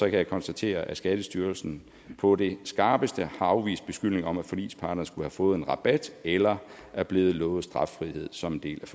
jeg konstatere at skattestyrelsen på det skarpeste har afvist beskyldninger om at forligsparterne skulle have fået en rabat eller er blevet lovet straffrihed som en del